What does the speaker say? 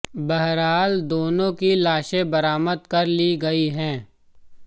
बहरहाल दोनों की लाशें बरामद कर ली गई हैं